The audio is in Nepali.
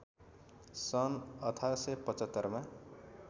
सन् १८७५ मा